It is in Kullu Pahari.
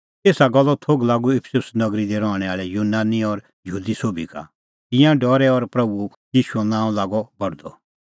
एसा गल्लो थोघ लागअ इफिसुस नगरी दी रहणैं आल़ै यूनानी और यहूदी सोभी का तिंयां डरै और प्रभू ईशूओ नांअ लागअ बढदअ